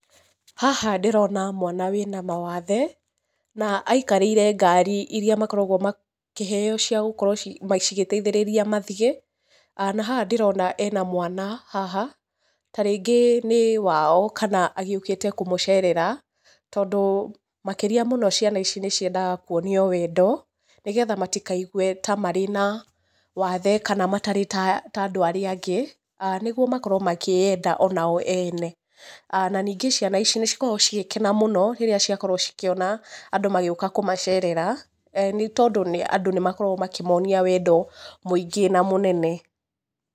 Haha ndĩrona mwana wĩna mawathe na aikarĩire ngari iria makoragwo makĩheo cia gũkorwo cigĩteithĩrĩria mathiĩ. Na haha ndĩrona ena mwana haha ta rĩngĩ nĩ wao kana agĩũkĩte kũmũcerera. Tondũ makĩria mũno ciana ici nĩciendaga kuonio wendo nĩgetha matikaigwe ta marĩ na wathe kana matarĩ ta ta andũ arĩa angĩ nĩguo makorwo makĩĩyenda onao ene. Na ningĩ ciana ici nĩcikoragwo cigĩkena mũno rĩrĩa ciakorwo cikĩona andũ magĩũka kũmacerera nĩ tondũ nĩ andũ nĩmakoragwo makĩmonia wendo mũingĩ na mũnene.